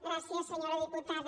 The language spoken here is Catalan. gràcies senyora diputada